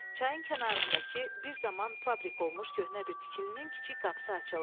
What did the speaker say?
Çayın kənarındakı bir zaman fabrik olmuş köhnə bir tikilinin kiçik qapısı açıldı.